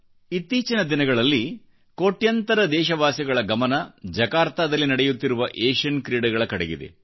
ಇತ್ತೀಚಿನ ದಿನಗಳಲ್ಲಿ ಕೋಟ್ಯಂತರ ದೇಶವಾಸಿಗಳ ಗಮನ ಜಕಾರ್ತಾದಲ್ಲಿ ನಡೆಯುತ್ತಿರುವ ಏಷಿಯನ್ ಕ್ರೀಡೆಗಳ ಕಡೆಗಿದೆ